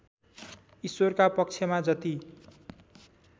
ईश्वरका पक्षमा जति